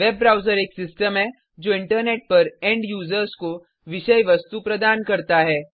web browser एक system है जो इंटरनेट पर एंड यूज़र्स को विषय वस्तु प्रदान करता है